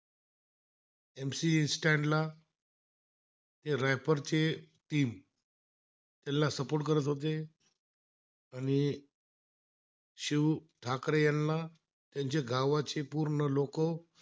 शिव ठाकरे याला त्यांचे गावाचे पूर्ण लोकं